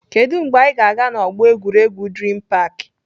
Kedụ mgbe anyị ga-aga na ọgbọ egwuregwu Dream park?